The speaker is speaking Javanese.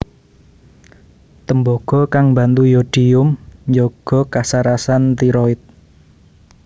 Tembaga kang mbantu yodium njaga kasarasan tiroid